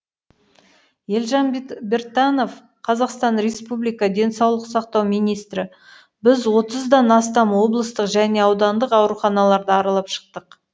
елжан біртанов қазақстан республика денсаулық сақтау министрі біз отыздан астам облыстық және аудандық ауруханаларды аралап шықтық